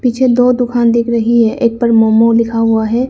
पीछे दो दुकान दिख रही है एक पर मोमो लिखा हुआ है।